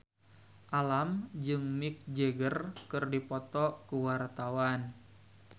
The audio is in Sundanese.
Alam jeung Mick Jagger keur dipoto ku wartawan